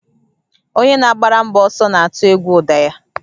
Onye na-agbara mgbọ ọsọ na-atụ egwu ụda ya